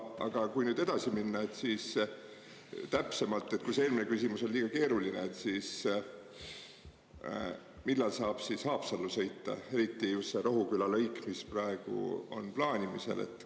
Aga kui nüüd edasi minna, siis täpsemalt, kui see eelmine küsimus oli liiga keeruline, millal saab Haapsallu sõita, eriti just see Rohuküla lõik, mis praegu on plaanimisel?